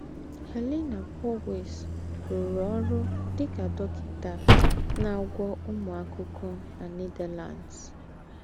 Helena Bouwhuis rùrụ̀ ọ́rụ́ dì kà dọ́kịtà ná-àgwọ̀ úmù àkụ́kọ̀ na Netherlands.